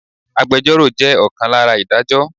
Agbẹjoro jẹ́ ọ̀kan lára Ìdájọ́.